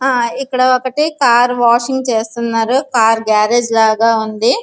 ఇక్కడ ఒకటి car washing చేస్తునారు. కార్ గారేజి లాగా ఉంది.